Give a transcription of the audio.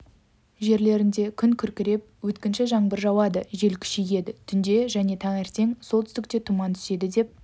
жерлерінде күн күркіреп өткінші жаңбыр жауады жел күшейеді түнде және таңертең солтүстікте тұман түседі деп